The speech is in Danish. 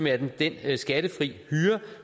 er den skattefri hyre